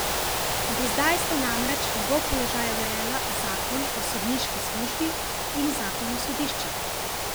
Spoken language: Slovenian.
Do zdaj sta namreč njegov položaja urejala zakon o sodniški službi in zakon o sodiščih.